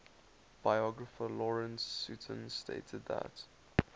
biographer lawrence sutin stated that